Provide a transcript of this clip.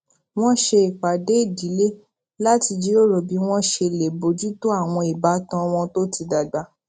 wón ṣe ìpàdé ìdílé láti jíròrò bí wón ṣe lè bójú tó àwọn ìbátan wọn tó ti dàgbà